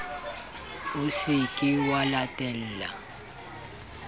o se ke wa latella